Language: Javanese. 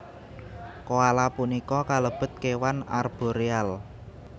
Koala punika kalebet kéwan arboreal